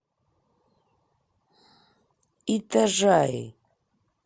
итажаи